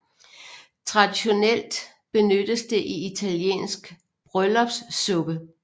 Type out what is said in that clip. Traditionelt benyttes det i italiensk bryllupssuppe